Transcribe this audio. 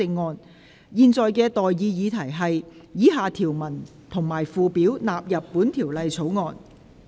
我現在向各位提出的待議議題是：以下條文及附表納入本條例草案。